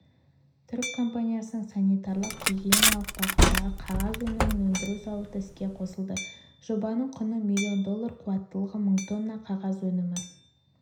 түрік компаниясының санитариялық-гигиеналық бағыттағы қағаз өнімін өндіру зауыты іске қосылды жобаның құны миллион доллар қуаттылығы мың тонна қағаз өнімі